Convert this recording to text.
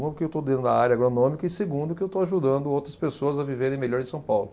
Uma, porque eu estou dentro da área agronômica, e segunda, porque eu estou ajudando outras pessoas a viverem melhor em São Paulo.